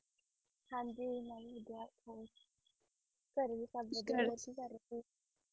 ਹਾਂਜੀ ਮੈ ਵੀ ਵਧੀਆ ਹੋਰ ਘਰੇ ਸਬ ਵਦੀਆ ਹੋਰ ਕਿ ਕਰ ਰਹੇ ਸੀ